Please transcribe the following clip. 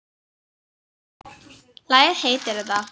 Lagið heitir þetta.